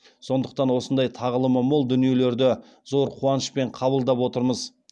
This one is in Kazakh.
сондықтан осындай тағылымы мол дүниелерді зор қуанышпен қабылдап отырмыз